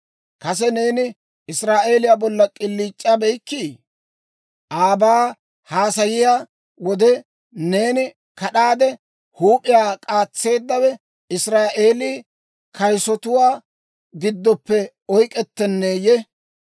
Kase neeni Israa'eeliyaa bollan k'iliic'abeykkii? Aabaa haasayiyaa wode, neeni kad'aade huup'iyaa k'aatseeddawe Israa'eelii kayisotuwaa giddoppe oyk'k'ettiineeyye?